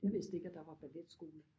Jeg vidste ikke at der var balletskole